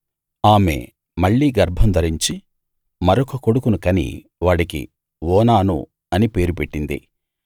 ఆమె మళ్ళీ గర్భం ధరించి మరొక కొడుకును కని వాడికి ఓనాను అని పేరు పెట్టింది